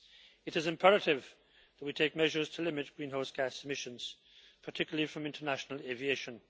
It is imperative that we take measures to limit greenhouse gas emissions, particularly from international aviation.